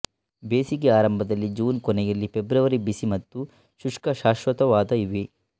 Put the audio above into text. ಬೇಸಿಗೆ ಆರಂಭದಲ್ಲಿ ಜೂನ್ ಕೊನೆಯಲ್ಲಿ ಫೆಬ್ರವರಿ ಬಿಸಿ ಮತ್ತು ಶುಷ್ಕ ಶಾಶ್ವತವಾದ ಇವೆ